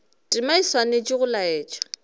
tema o swanetše go laetša